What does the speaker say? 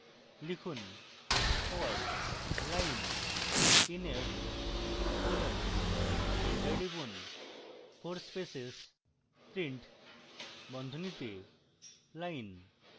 লিখুন for line in f colon enter টিপুন